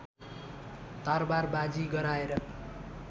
तरवारबाजी गराएर